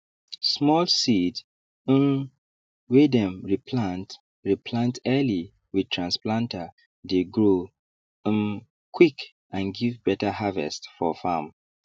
small seeds um wey dem re plant re plant early with transplanter dey grow um quick and give better harvest for farm